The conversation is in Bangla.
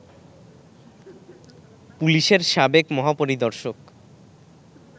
পুলিশের সাবেক মহাপরিদর্শক